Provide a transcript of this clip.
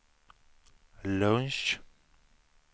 lunch